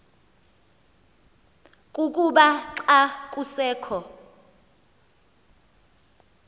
kukuba xa kusekho